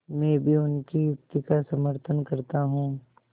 मैं भी उनकी युक्ति का समर्थन करता हूँ